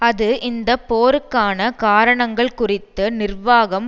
அது இந்த போருக்கான காரணங்கள் குறித்து நிர்வாகம்